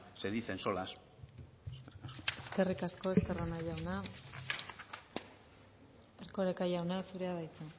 se dicen solas eskerrik asko estarrona jauna erkoreka jauna zurea da hitza